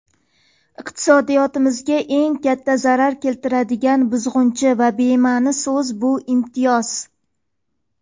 Iqtisodiyotimizga eng katta zarar keltiradigan buzg‘unchi va bemani so‘z bu imtiyoz.